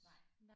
Nej